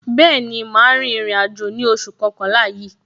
Bẹẹni, ma rin ìrìn àjò ní oṣù kọkànlá yìí.